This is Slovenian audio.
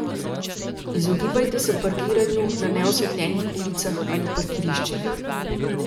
Izogibajte se parkiranju na neosvetljenih ulicah ali parkiriščih.